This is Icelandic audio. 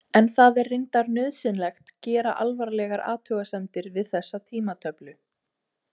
En það er reyndar nauðsynlegt gera alvarlegar athugasemdir við þessa tímatöflu.